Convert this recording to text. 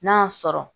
N'a y'a sɔrɔ